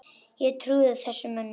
Ég trúði þessum mönnum.